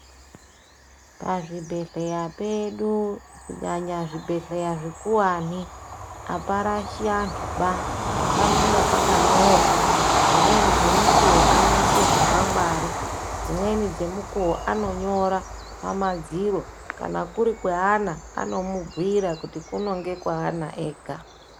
Pazvibhedhlera pedu kunyanya zvibhedhlera zvikuwani aparashi antuba. Panenge pakanyorwa. Dzimweni dzemukuwo vanonyora chikwangwari, dzimweni dzemukuwo anonyora pamadziro. Kana kuri kweana, anomubhuira kuti kuno ndekweana vega.